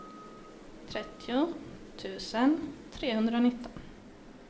trettio tusen trehundranitton